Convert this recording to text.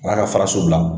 N'a ka faraso bila